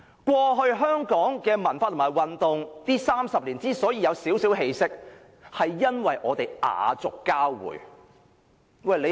過去30年，香港的文化和運動出現了少許起色，因為我們雅俗交匯。